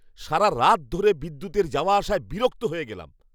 সারারাত ধরে বিদ্যুতের যাওয়া আসায় বিরক্ত হয়ে গেলাম।